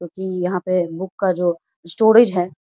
क्यूंकि यहां पे बुक का जो स्टोरेज है।